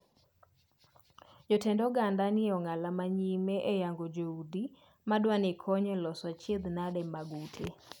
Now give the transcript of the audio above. Jotend oganda nitie e ong’ala ma nyime e yango joodi ma dwani kony e loso achiedhanade mag ute.